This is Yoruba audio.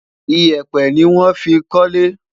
iyepe ní wón fí kólé